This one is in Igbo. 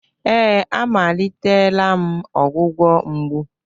Ee, amalitela m ọgwụgwọ mgbu.